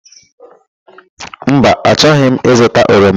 Mba, achọghị m ịzụta oroma.